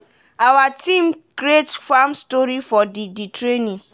awa team create farm story for di di training.